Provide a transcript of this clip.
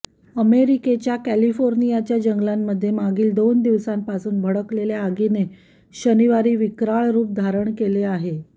अमेरिकेच्या कॅलिफोर्नियाच्या जंगलांमध्ये मागील दोन दिवसांपासून भडकलेल्या आगीने शनिवारी विक्राळ रुप धारण केले आहे